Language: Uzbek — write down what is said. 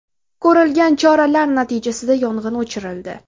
Ko‘rilgan choralar natijasida yong‘in o‘chirildi.